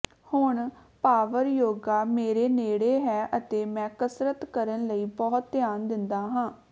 ਹੁਣ ਪਾਵਰ ਯੋਗਾ ਮੇਰੇ ਨੇੜੇ ਹੈ ਅਤੇ ਮੈਂ ਕਸਰਤ ਕਰਨ ਲਈ ਬਹੁਤ ਧਿਆਨ ਦਿੰਦਾ ਹਾਂ